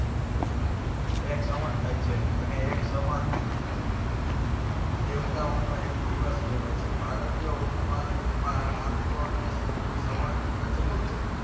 એક સંવંત થાય છે. અને એક સંવંત દેવતાઓનો એક દિવસ કહેવાય છે. ભારતીય ઉપમાદ્વીપમાં આમ તો અનેક સં~સંવંત પ્રચલિત છે.